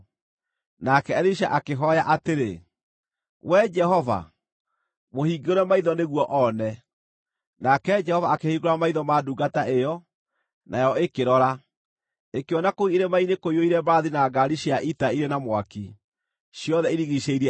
Nake Elisha akĩhooya atĩrĩ, “Wee Jehova, mũhingũre maitho nĩguo oone.” Nake Jehova akĩhingũra maitho ma ndungata ĩyo, nayo ĩkĩrora, ĩkĩona kũu irĩma-inĩ kũiyũire mbarathi na ngaari cia ita irĩ na mwaki, ciothe irigiicĩirie Elisha.